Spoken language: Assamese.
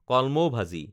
কলমৌ ভাজি